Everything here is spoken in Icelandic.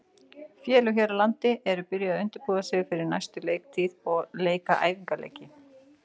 Félög hér á landi eru byrjuð að undirbúa sig fyrir næstu leiktíð og leika æfingaleiki.